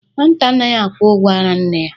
Nwata anaghị akwụ ụgwọ ara nne ya.